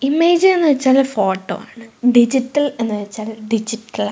image എന്ന് വച്ചാൽ photo ആണ് ഡിജിറ്റൽ എന്ന് വച്ചാൽ ഡിജിറ്റലാ --